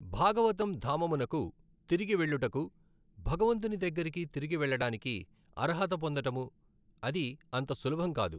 భాగవతము్ ధామమునకు తిరిగి వెళ్ళుటకు భగవంతుని దగ్గరకి తిరిగి వెళ్ళడానికి అర్హత పొందటము అది అంత సులభం కాదు.